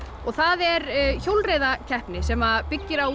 það er hjólreiðakeppni sem byggir á